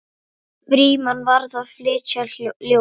Frímann var að flytja ljóð.